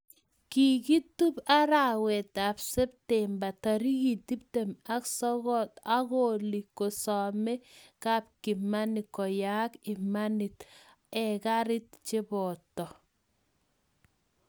Kigitup arawet ap septemba tarik 29 angoli kosame kapkimani koyaak imanit agerat chebooto